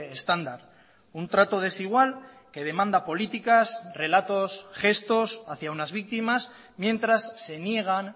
estándar un trato desigual que demanda políticas relatos gestos hacia unas víctimas mientras se niegan